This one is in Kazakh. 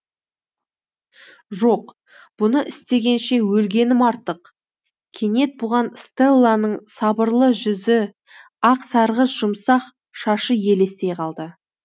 жоқ бұны істегенше өлгенім артық кенет бұған стелланың сабырлы жүзі ақ сарғыш жұмсақ шашы елестей қалды